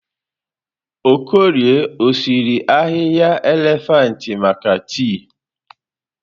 Okorie ọsiri ahịhịa elefantị maka tii?